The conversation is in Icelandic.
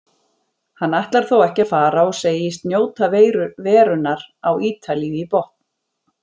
Hann ætlar þó ekki að fara og segist njóta verunnar á Ítalíu í botn.